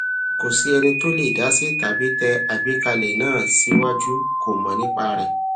kò sí ẹni tó lè dasi tàbí tẹ àgbékalẹ náà siwaju kò mọ nípa rẹ